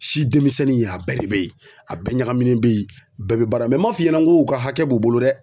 Si demisɛnnin a bɛɛ de be ye, a bɛɛ ɲagaminen be ye, bɛɛ be baara m'a f'i ɲɛna ŋo u ka hakɛ b'u bolo dɛ.